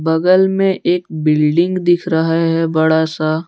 बगल में एक बिल्डिंग दिख रहा है बड़ा सा--